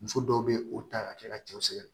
Muso dɔw be o ta ka kɛ ka cɛw sɛgɛn